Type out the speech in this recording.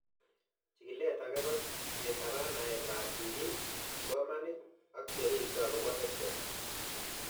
Chikilet ake ko ketapen naet ab sig'ik , kipsomanik, ak che ripsei akopo EdTech